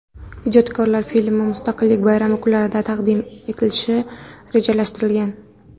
Ijodkorlar filmni Mustaqillik bayrami kunlarida taqdim etishni rejalashtirgan.